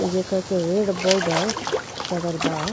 एजा कह के एगो बॉर्डर करल बा।